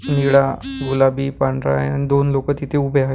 निळा गुलाबी पांढरा हाय अन दोन लोकं तिथे उभे आहेत.